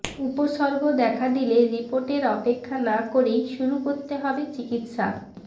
উপসর্গ দেখা দিলে রিপোর্টের অপেক্ষা না করেই শুরু করতে হবে চিকিৎসা